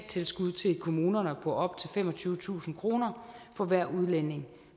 kommunerne på op til femogtyvetusind kroner for hver udlænding